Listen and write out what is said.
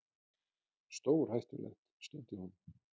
Stórhættulegt. stundi hún.